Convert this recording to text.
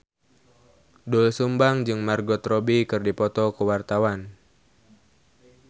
Doel Sumbang jeung Margot Robbie keur dipoto ku wartawan